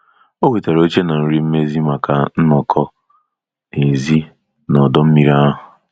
O wetara oche na nri mmezi maka nnọkọ n'èzí na ọdọ mmiri ahụ.